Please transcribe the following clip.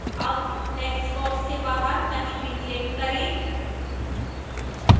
अब textbox के बाहर कहीं भी click करें